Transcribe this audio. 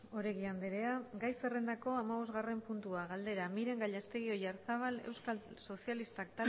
oregi andrea gai zerrendako hamabosgarren puntua galdera miren gallastegui oyarzábal euskal sozialistak